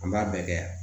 An b'a bɛɛ kɛ yan